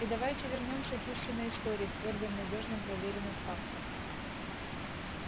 и давайте вернёмся к истинной истории к твёрдым надёжным проверенным фактам